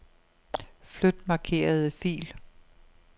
Flyt markerede fil.